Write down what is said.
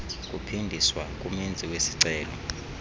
kuphindiswa kumenzi wesicelo